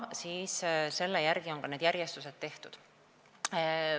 Selle järgi on ka see järjestus tehtud.